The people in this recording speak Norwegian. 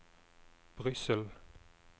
Brussel